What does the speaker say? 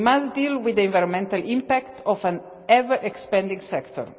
We must deal with the environmental impact of an ever-expanding sector.